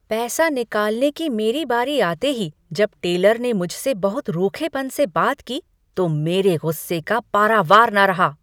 पैसे निकालने की मेरी बारी आते ही जब टेलर ने मुझसे बहुत रूखेपन से बात की तो मेरे गुस्से का पारावार न रहा।